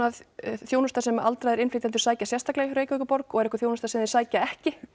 þjónusta sem aldraðir innflytjendur sækja sérstaklega í hjá Reykjavíkurborg og er einhver þjónusta sem þeir sækja ekki